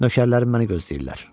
Nökərlərim məni gözləyirlər.